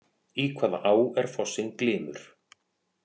Í hvaða á er fossinn Glymur?